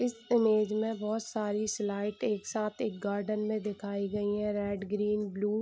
इस इमेज में बहुत सारी स्लाइट एक साथ एक गार्डन में दिखाई गयी है रेड ग्रीन ब्लू ।